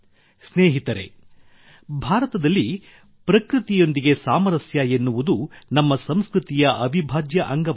ಸ್ನೇಹಿತರೇ ಭಾರತದಲ್ಲಿ ಪ್ರಕೃತಿಯೊಂದಿಗೆ ಸಾಮರಸ್ಯ ಎನ್ನುವುದು ನಮ್ಮ ಸಂಸ್ಕೃತಿಯ ಅವಿಭಾಜ್ಯ ಅಂಗವಾಗಿದೆ